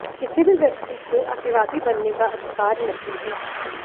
किसी भी व्यक्ति को अतिवादी बनने का अधिकार नहीं है